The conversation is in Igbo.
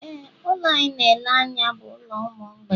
Éè, ụlọ a ị na-ele anya bụ ụlọ ụmụ mgbei